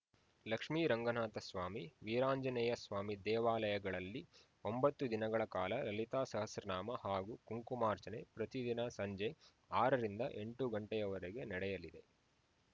ಲಕ್ಷ್ಮೀರಂಗನಾಥ ಸ್ವಾಮಿ ವೀರಾಂಜನೇಯಸ್ವಾಮಿ ದೇವಾಲಯಗಳಲ್ಲಿ ಒಂಬತ್ತು ದಿನಗಳ ಕಾಲ ಲಲಿತಾ ಸಹಸ್ರನಾಮ ಹಾಗೂ ಕುಂಕುಮಾರ್ಚನೆ ಪ್ರತಿದಿನ ಸಂಜೆ ಆರರಿಂದ ಎಂಟು ಗಂಟೆಯವರೆಗೆ ನಡೆಯುಲಿದೆ